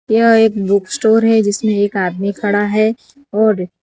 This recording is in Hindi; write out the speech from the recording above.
यह एक बुक स्टोर है जिसमें एक आदमी खड़ा है और --